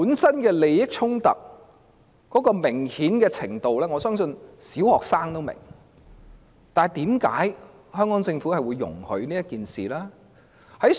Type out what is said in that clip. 箇中明顯的利益衝突，我相信連小學生都明白，但為何特區政府會容許此事發生？